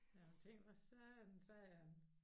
Jeg har tænkt hvad satan sagde han